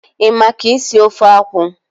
Ị ma ka esi ofe akwụ?